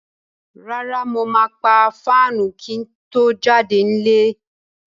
Rárá, mo máa pa fáànù kí n tó jáde nílé.